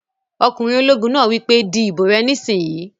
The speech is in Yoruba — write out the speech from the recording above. Ọkùnrin ológun náà wí pé "di ìbò rẹ nísìínyi!"